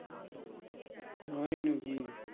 তাই নাকি?